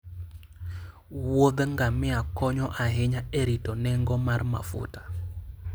wuodh ngamia konyo ahinya e rito nengo mar mafuta.